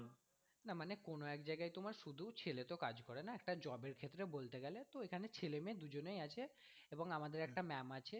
না মানে কোন এক জায়গায় তোমার শুধু ছেলে তো কাজ করে না একটা job এর ক্ষেত্রে বলতে গেলে তো এখানে ছেলে মেয়ে দুজনেই আছ এবং আমাদের একটা ম্যাম আছে